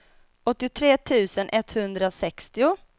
åttiotre tusen etthundrasextio